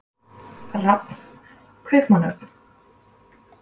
Rafn, Kaupmannahöfn.